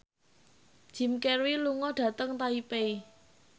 Jim Carey lunga dhateng Taipei